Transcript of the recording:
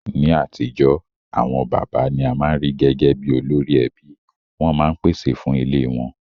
Ní atijọ́, àwon bàbá ni a ma n ri gẹgẹ bi olórí ẹbí, won ma n pèsè fun ilé won